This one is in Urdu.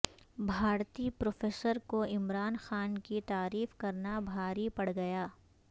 بھارتی پروفیسرکو عمران خان کی تعریف کرنا بھاری پڑگیا